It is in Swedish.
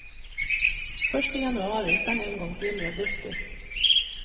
Först i januari, sedan en gång till i augusti.